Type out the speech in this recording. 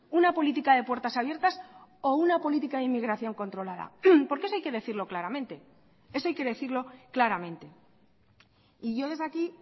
una política de puertas abiertas o una política de inmigración controlada porque eso hay que decirlo claramente eso hay que decirlo claramente y yo desde aquí